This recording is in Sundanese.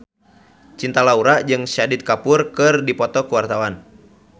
Cinta Laura jeung Shahid Kapoor keur dipoto ku wartawan